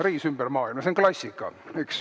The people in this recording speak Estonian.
"Reis ümber maailma", see on klassika, eks.